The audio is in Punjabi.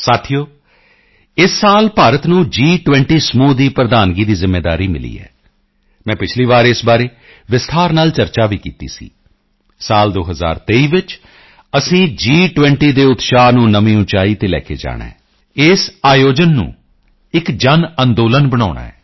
ਸਾਥੀਓ ਇਸ ਸਾਲ ਭਾਰਤ ਨੂੰ ਜੀ20 ਸਮੂਹ ਦੀ ਪ੍ਰਧਾਨਗੀ ਦੀ ਜ਼ਿੰਮੇਵਾਰੀ ਮਿਲੀ ਹੈ ਮੈਂ ਪਿਛਲੀ ਵਾਰ ਇਸ ਬਾਰੇ ਵਿਸਤਾਰ ਨਾਲ ਚਰਚਾ ਵੀ ਕੀਤੀ ਸੀ ਸਾਲ 2023 ਵਿੱਚ ਅਸੀਂ ਜੀ20 ਦੇ ਉਤਸ਼ਾਹ ਨੂੰ ਨਵੀਂ ਉਚਾਈ ਤੇ ਲੈ ਕੇ ਜਾਣਾ ਹੈ ਇਸ ਆਯੋਜਨ ਨੂੰ ਇੱਕ ਜਨਅੰਦੋਲਨ ਬਣਾਉਣਾ ਹੈ